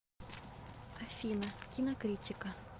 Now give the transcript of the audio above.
афина кинокритика